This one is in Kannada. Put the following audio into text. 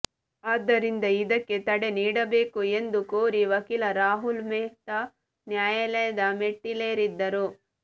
ಆದ್ದರಿಂದ ಇದಕ್ಕೆ ತಡೆ ನೀಡಬೇಕು ಎಂದು ಕೋರಿ ವಕೀಲ ರಾಹುಲ್ ಮೆಹ್ತಾ ನ್ಯಾಯಾಲಯದ ಮೆಟ್ಟಿಲೇರಿದ್ದರು